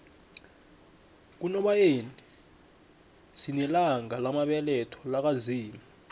kunobayeni sinelanga lamabeletho laka zimu